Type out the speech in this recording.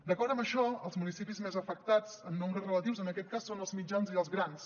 d’acord amb això els municipis més afectats en nombres relatius en aquest cas són els mitjans i els grans